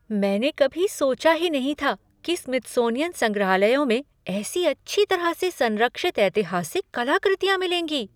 मैंने कभी सोचा ही नहीं था कि स्मिथसनियन संग्रहालयों में ऐसी अच्छी तरह से संरक्षित ऐतिहासिक कलाकृतियां मिलेंगी।